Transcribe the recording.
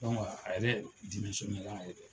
a yɛrɛ a yɛrɛ ye.